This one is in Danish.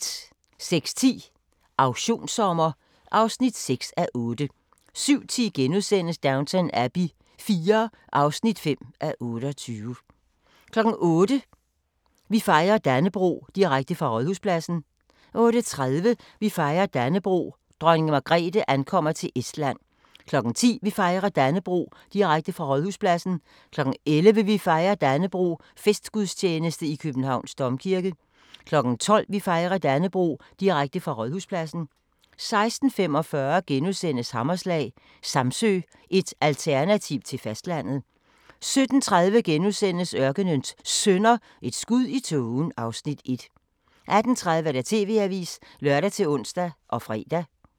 06:10: Auktionssommer (6:8) 07:10: Downton Abbey IV (5:28)* 08:00: Vi fejrer Dannebrog – direkte fra Rådhuspladsen 08:30: Vi fejrer Dannebrog – Dronning Margrethe ankommer til Estland 10:00: Vi fejrer Dannebrog – direkte fra Rådhuspladsen 11:00: Vi fejrer Dannebrog – festgudstjeneste i Københavns Domkirke 12:00: Vi fejrer Dannebrog – direkte fra Rådhuspladsen 16:45: Hammerslag – Samsø, et alternativ til fastlandet * 17:30: Ørkenens Sønner – Et skud i tågen (Afs. 1)* 18:30: TV-avisen (lør-ons og fre)